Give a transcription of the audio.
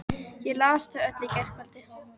Ég las þau öll í gærkvöldi.